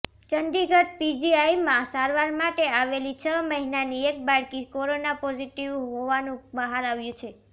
ચંદીગઢ પીજીઆઈમાં સારવાર માટે આવેલી છ મહિનાની એક બાળકી કોરોના પોઝિટિવ હોવાનું બહાર આવ્યું છે